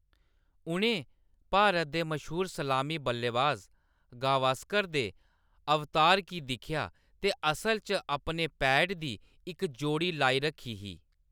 उʼनें भारत दे मश्हूर सलामी बल्लेबाज गावस्कर दे अवतार गी दिक्खेआ, ते असल च अपने पैड दी इक जोड़ी लाई रक्खी ही।